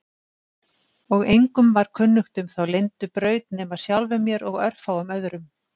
Og engum var kunnugt um þá leyndu braut nema sjálfum mér og örfáum öðrum.